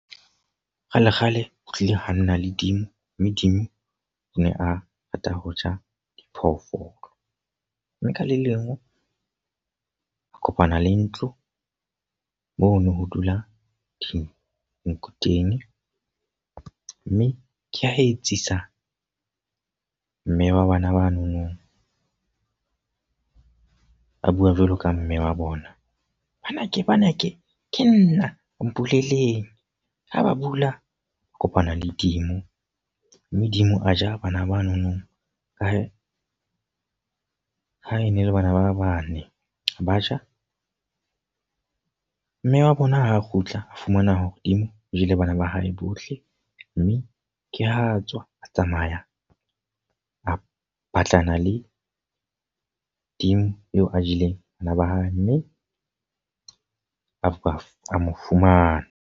Kgale-kgale o tlile ho nna le dimo mme dimo o ne a rata ho ja diphoofolo. Mme ka le leng a kopana le ntlo mono ho dula di king . Mme ke a etsisa mme wa bana ba no no, a bua jwalo ka mme wa bona. banake, banake ke nna, mpuleleng. Ha ba bula ba kopana le dimo. Mme dimo a ja bana banono. Ha e ne le bana ba bane, a ba ja. m Mme wa bona ha a kgutla, a fumana hore dimo o jele bana ba hae bohle. Mme ke ha a tswa a tsamaya a batlana le dimo eo a jeleng bana ba hae, mme a ba a mo fumana.